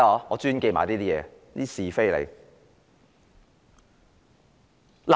我專門記得這些是非。